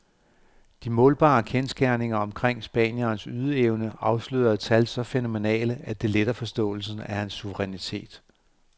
De målbare kendsgerninger omkring spanierens ydeevne afslører tal så fænomenale, at det letter forståelsen af hans suverænitet.